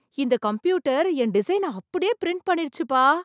இந்த கம்ப்யூட்டர் என் டிசைனை அப்படியே பிரிண்ட் பண்ணிருச்சுப்பா!